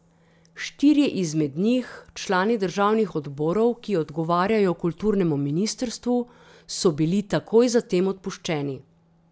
Štirje izmed njih, člani državnih odborov, ki odgovarjajo kulturnemu ministrstvu, so bili takoj za tem odpuščeni.